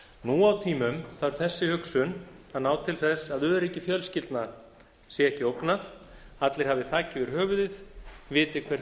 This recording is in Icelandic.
nú á tímum þarf þessi hugsun að ná til þess að öryggi fjölskyldna sé ekki ógnað allir hafi þak yfir höfuðið viti hver